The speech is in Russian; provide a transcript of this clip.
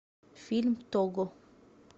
фильм того